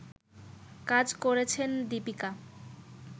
কাজ করেছেন দিপিকা